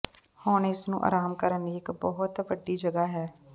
ਹੁਣ ਇਸ ਨੂੰ ਆਰਾਮ ਕਰਨ ਲਈ ਇੱਕ ਬਹੁਤ ਵੱਡੀ ਜਗ੍ਹਾ ਹੈ